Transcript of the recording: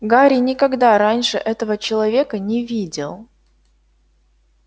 гарри никогда раньше этого человека не видел